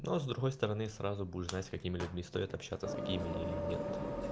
но с другой стороны сразу будешь знать с какими людьми стоит общаться а с какими нет